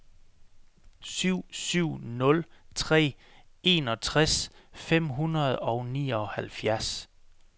syv syv nul tre enogtres fem hundrede og nioghalvfjerds